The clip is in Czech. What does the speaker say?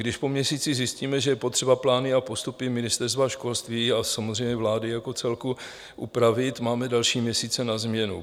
Když po měsíci zjistíme, že je potřeba plány a postupy Ministerstva školství a samozřejmě vlády jako celku upravit, máme další měsíce na změnu.